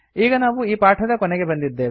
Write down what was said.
ಈಗ ನಾವು ಈ ಪಾಠದ ಕೊನೆಗೆ ಬಂದಿದ್ದೇವೆ